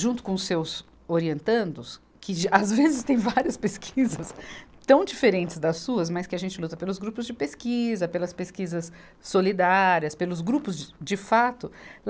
junto com os seus orientandos, que às vezes têm várias pesquisas tão diferentes das suas, mas que a gente luta pelos grupos de pesquisa, pelas pesquisas solidárias, pelos grupos de, de fato.